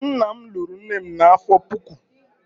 nna m lụrụ nne m n'afọ puku.